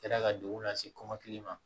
Kɛra ka degun lase kɔmɔkili ma